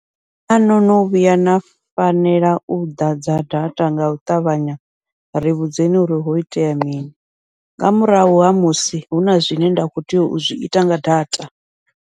Naa no no vhuya na fanela u ḓadza data ngau ṱavhanya ri vhudzekani uri ho itea mini, nga murahu ha musi huna zwine nda kho tea u zwiita nga data.